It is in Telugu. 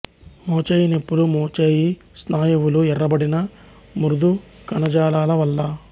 మోచేయి నొప్పులు మోచేయి స్నాయువులు ఎర్రబడిన మృదు కణజాలాల వల్ల